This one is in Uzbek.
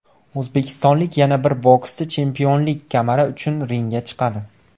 O‘zbekistonlik yana bir bokschi chempionlik kamari uchun ringga chiqadi.